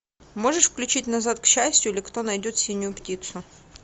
можешь включить назад к счастью или кто найдет синюю птицу